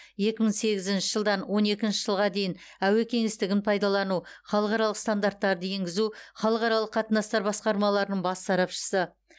екі мың сегізінші жылдан он екінші жылға дейін әуе кеңістігін пайдалану халықаралық стандарттарды енгізу халықаралық қатынастар басқармаларының бас сарапшысы